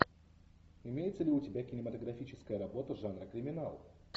имеется ли у тебя кинематографическая работа жанра криминал